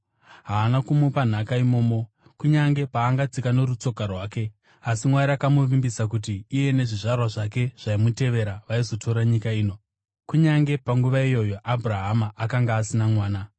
Haana kumupa nhaka imomo, kunyange paangatsika norutsoka rwake. Asi Mwari akamuvimbisa kuti iye nezvizvarwa zvake zvaimutevera vaizotora nyika ino, kunyange panguva iyoyo Abhurahama akanga asina mwana.